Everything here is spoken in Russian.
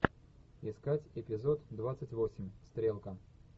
искать эпизод двадцать восемь стрелка